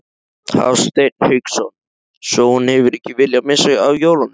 Hafsteinn Hauksson: Svo hún hefur ekki viljað missa af jólunum?